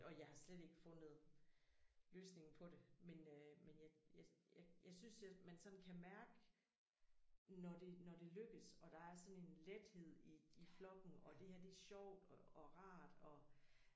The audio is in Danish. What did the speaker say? Og jeg har slet ikke fundet løsningen på det men øh men jeg jeg jeg jeg synes at man sådan kan mærke når det når det lykkes og der er sådan en lethed i i flokken og det her det sjovt og og rart og